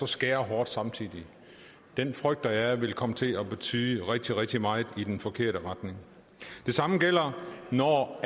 skære hårdt samtidig frygter jeg vil komme til at betyde rigtig rigtig meget og i den forkerte retning det samme gælder når